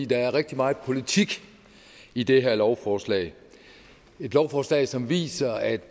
der er rigtig meget politik i det her lovforslag et lovforslag som viser at